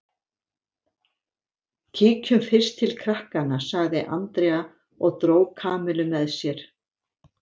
Kíkjum fyrst til krakkanna sagði Andrea og dró Kamillu með sér.